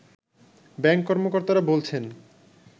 bank কর্মকর্তারা বলছেন